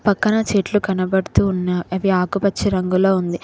పక్కన చెట్లు కనబడుతు ఉన్న అవి ఆకుపచ్చ రంగులో ఉంది.